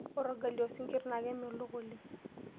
Ore orgali osinkirr naa kemelok oleng.